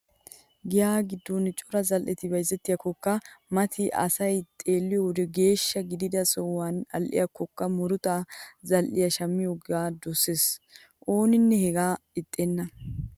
Giyaa giddon cora zal"eti bayzettikkokka mati asay xeelliyo wode geeshsha gidida sohuwanne al"ikkokka muruta zal"iya shammiyogaa dosees. Ooninne hegaa ixxenna.